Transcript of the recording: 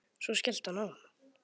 Svo skellti hann á.